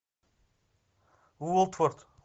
уотфорд